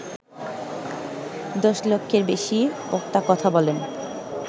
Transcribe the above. দশ লক্ষের বেশি বক্তা কথা বলেন